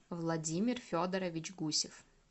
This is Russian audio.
владимир федорович гусев